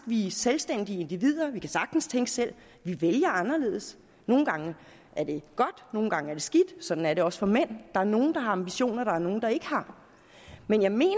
vi er selvstændige individer vi kan sagtens tænke selv vi vælger anderledes nogle gange er det godt nogle gange er det skidt sådan er det også for mænd der er nogle der har ambitioner og der er nogle der ikke har men jeg mener